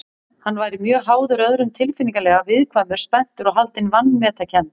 Hann væri mjög háður öðrum tilfinningalega, viðkvæmur, spenntur og haldinn vanmetakennd.